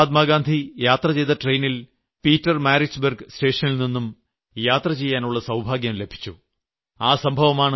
എനിയ്ക്ക് മഹാത്മാഗാന്ധി യാത്ര ചെയ്ത ട്രെയിനിൽ പീറ്റർ മാരിട്സ്ബർഗ് സ്റ്റേഷനിൽനിന്നും യാത്ര ചെയ്യാനുള്ള സൌഭാഗ്യം ലഭിച്ചു